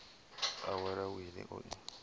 a wale wili o i